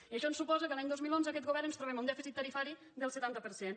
i això ens suposa que l’any dos mil onze aquest govern ens trobem un dèficit tarifari del setanta per cent